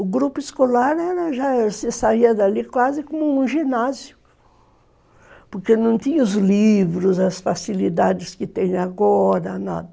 O grupo escolar já se saía dali quase como um ginásio, porque não tinha os livros, as facilidades que tem agora, nada.